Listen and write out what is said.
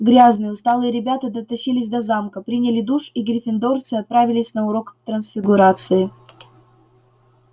грязные усталые ребята дотащились до замка приняли душ и гриффиндорцы отправились на урок трансфигурации